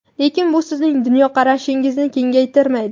lekin bu sizning dunyoqarashingizni kengaytirmaydi.